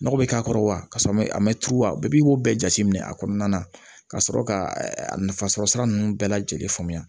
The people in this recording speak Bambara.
Nɔgɔ bɛ k'a kɔrɔ wa kasɔrɔ a mɛ tuba bɛɛ bɛ i b'o bɛɛ jateminɛ a kɔnɔna na ka sɔrɔ ka a nafasɔrɔ sira ninnu bɛɛ lajɛlen faamuya